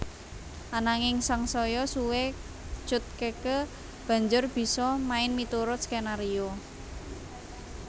Ananging sangsaya suwé Cut Keke banjur bisa main miturut skenario